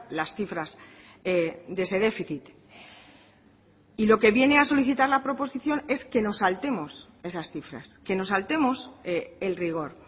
las cifras de ese déficit y lo que viene a solicitar la proposición es que nos saltemos esas cifras que nos saltemos el rigor